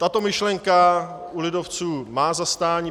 Tato myšlenka u lidovců má zastání.